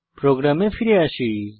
প্রোগ্রামে ফিরে আসি